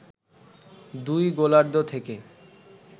দুই গোলার্ধ থেকে